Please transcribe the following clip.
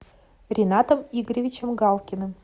ринатом игоревичем галкиным